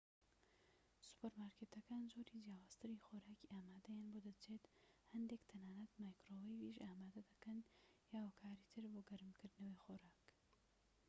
سوپەرمارکێتەکان جۆری جیاوازتری خۆراکی ئامادەیان بۆ دەچێت هەندێك تەنانەت مایکرۆوەیڤیش ئامادە دەکەن یان هۆکاری تر بۆ گەرمکردنەوەی خواردن